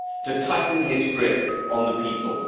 to tighten his grip on the people.